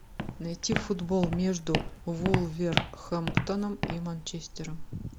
найти футбол между вулверхэмптоном и манчестером